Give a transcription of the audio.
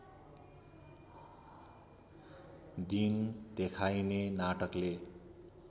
दिन देखाइने नाटकले